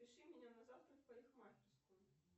запиши меня на завтра в парикмахерскую